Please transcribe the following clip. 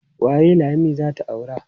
Waye Lami za ta aura?